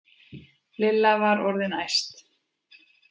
Lilla var orðin æst.